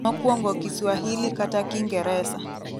mokwongo kiswahili kata kingeresa